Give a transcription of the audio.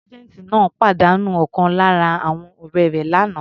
Sergeant náà pàdánù ọ̀kan lára àwọn ọ̀rẹ́ rẹ̀ l'ana.